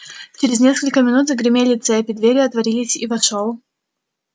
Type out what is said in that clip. через несколько минут загремели цепи двери отворились и вошёл